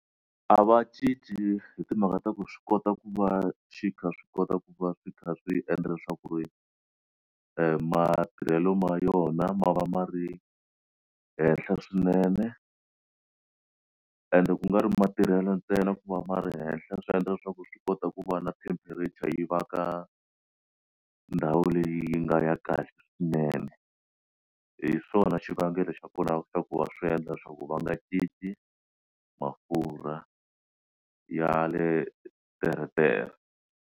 A va cinci hi timhaka ta ku swi kota ku va xi kha swi kota ku va swi kha swi endla leswaku ku ri matirhelo ma yona ma va ma ri henhla swinene ende ku nga ri matirhelo ntsena ku va ma ri henhla swi endla leswaku swi kota ku va na temperature yi va ka ndhawu leyi yi nga ya kahle swinene hi swona xivangelo xa kona xa ku va swi endla leswaku va nga tshiki mafurha ya le teretere.